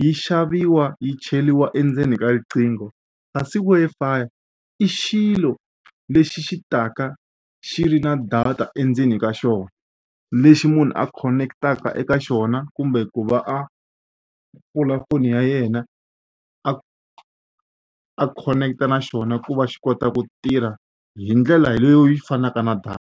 yi xaviwa yi cheriwa endzeni ka riqingho kasi Wi-Fi i xilo lexi xi taka xi ri na data endzeni ka xona lexi munhu a khoneketaka eka xona kumbe ku va a pfula foni ya yena a a khoneketa na xona ku va xi kota ku tirha hi ndlela leyi fanaka na .